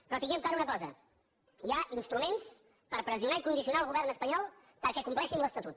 però tinguem clara una cosa hi ha instruments per pressionar i condicionar el govern espanyol perquè compleixin l’estatut